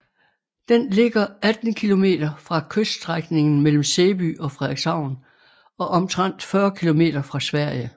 Den ligger 18 km fra kyststrækningen mellem Sæby og Frederikshavn og omtrent 40 km fra Sverige